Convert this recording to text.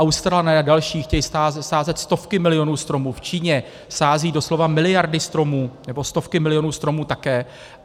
Australané a další chtějí sázet stovky milionů stromů, v Číně sázejí doslova miliardy stromů nebo stovky milionů stromů také.